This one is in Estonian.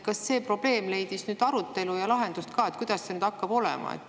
Kas see probleem leidis laiemat arutelu ja lahenduse ka, kuidas see hakkab olema?